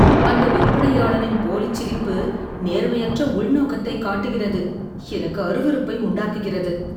அந்த விற்பனையாளனின் போலிச் சிரிப்பு நேர்மையற்ற உள்நோக்கத்தை காட்டுகிறது, எனக்கு அருவருப்பை உண்டாக்குகிறது